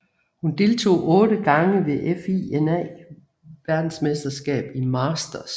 Hun deltog otte gange ved FINA VM i masters